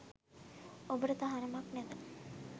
ඔබට තහනමක් නැත.